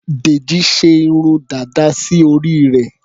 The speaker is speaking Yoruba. Dèjì ṣe irun dàda sí orí rẹ̀.